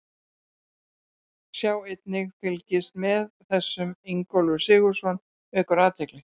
Sjá einnig: Fylgist með þessum: Ingólfur Sigurðsson vekur athygli